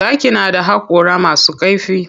Zaki na da haƙora masu kaifi.